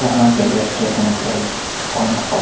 यहाँ railway station के IG point पर--